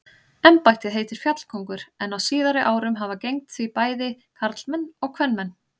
Embættið heitir fjallkóngur en á síðari árum hafa gegnt því bæði karlmenn og kvenmenn.